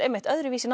öðruvísi